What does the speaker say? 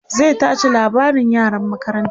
zai tace labarin yaran makarantan